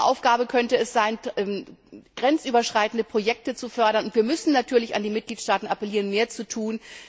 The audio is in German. Und unsere Aufgabe könnte es sein, grenzüberschreitende Projekte zu fördern, und wir müssen natürlich an die Mitgliedstaaten appellieren, mehr zu tun.